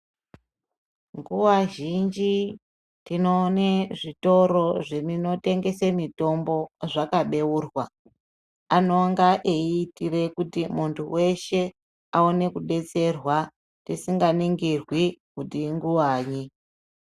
Nguva zhinji tinoone zvitoro zvinotengese mitombo zvaka beurwa anonga eyi itire kuti muntu weshe aone kudetserwa tisinga ningirwi kuti inguvanyi.